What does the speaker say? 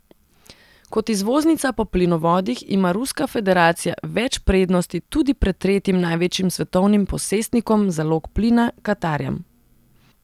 Kot izvoznica po plinovodih ima Ruska federacija več prednosti tudi pred tretjim največjim svetovnim posestnikom zalog plina, Katarjem.